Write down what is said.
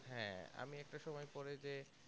হ্যাঁ আমি একটা সময়ে পরে যে